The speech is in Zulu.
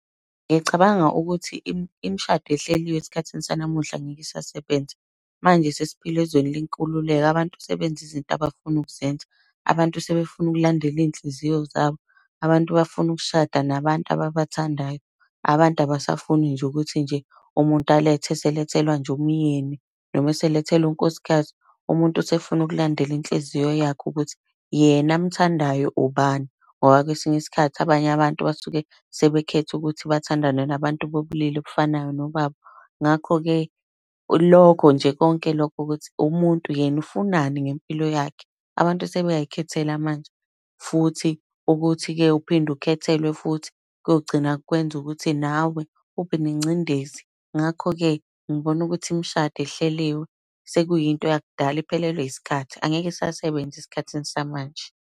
Ngiyacabanga ukuthi imishado ehleliwe esikhathini sanamuhla ngeke isasebenza. Manje sesiphila ezweni lenkululeko abantu sebenza izinto abafuna ukuzenza. Abantu sebefuna ukulandela iy'nhliziyo zabo. Abantu bafuna ukushada nabantu ababathandayo. Abantu abasafuni nje ukuthi nje umuntu alethe eselethelwa nje umyeni noma eselethelwa unkosikazi. Umuntu usefuna ukulandela inhliziyo yakhe ukuthi yena amthandayo ubani, ngoba kwesinye isikhathi abanye abantu basuke sebekhethe ukuthi bathandane nabantu bobulili obufanayo nobabo. Ngakho-ke lokho nje konke lokho, ukuthi umuntu yena ufunani ngempilo yakhe. Abantu sebeyay'khethela manje, futhi ukuthi-ke uphinde ukhethelwe futhi, kogcina kwenza ukuthi nawe ubenengcindezi. Ngakho-ke ngibona ukuthi imishado ehleliwe sekuyinto yakudala iphelelwe yisikhathi, angeke isasebenza esikhathini samanje.